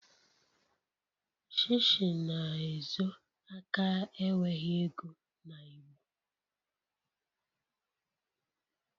Shishi na-ezo aka enweghị ego na igbo..